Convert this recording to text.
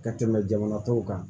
Ka tɛmɛ jamana tɔw kan